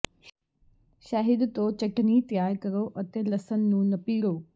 ਸ਼ਹਿਦ ਤੋਂ ਚਟਣੀ ਤਿਆਰ ਕਰੋ ਅਤੇ ਲਸਣ ਨੂੰ ਨਪੀੜੋ